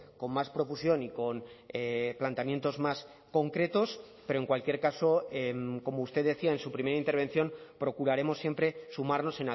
con más profusión y con planteamientos más concretos pero en cualquier caso como usted decía en su primera intervención procuraremos siempre sumarnos